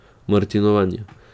Martinovanju.